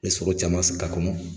Be sogo caman s k'a kɔnɔ